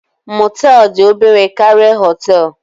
Mọtel dị obere karịa Họtelu